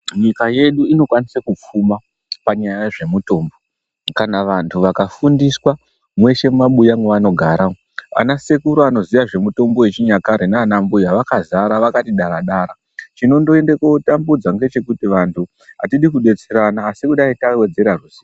Nyika yedu inokwanise kupfuma nenyaya yezvemutombo kana vantu vakafundiswa mweshe mumabuya mwevaanogara umwo anasekuru anoziya mitombo yechinyakare naanambuya vakazara vakati dara dara chinondonyanya kutambudza ngechekuti vantu atidi kudetserana asi kuti dai tawedzera.